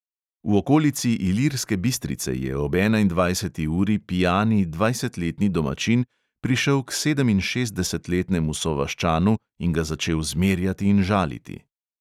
V okolici ilirske bistrice je ob enaindvajseti uri pijani dvajsetletni domačin prišel k sedeminšestdesetletnemu sovaščanu in ga začel zmerjati in žaliti.